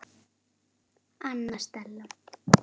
Anna Stella.